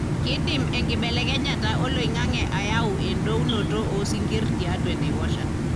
kidim enkibelekenyata oloingange ayau edounoto osinkir tiatua enaiposha.